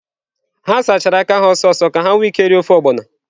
Ha sachara aka ha ọsọ ọsọ ka ha nwee ike iri ofe ogbono.